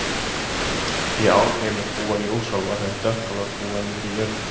Í Álfheimum búa ljósálfar en dökkálfar búa niðri í jörðu.